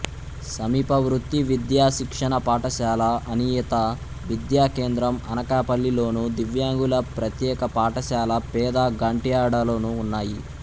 సమీప వృత్తి విద్యా శిక్షణ పాఠశాల అనియత విద్యా కేంద్రం అనకాపల్లిలోను దివ్యాంగుల ప్రత్యేక పాఠశాలపెద గంట్యాడలోనూ ఉన్నాయి